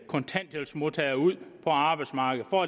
kontanthjælpsmodtagere ud på arbejdsmarkedet og